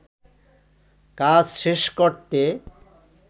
কাজ শেষ করতে